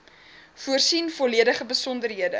voorsien volledige besonderhede